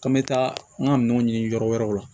K'an bɛ taa an ka minɛnw ɲini yɔrɔ wɛrɛw la